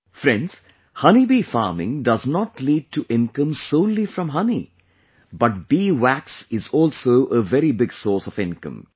Friends, Honey Bee Farming do not lead to income solely from honey, but bee wax is also a very big source of income